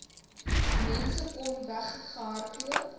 mense kon weggehardloop